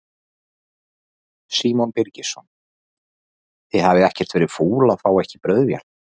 Símon Birgisson: Þið hafið ekkert verið fúl að fá ekki brauðvél?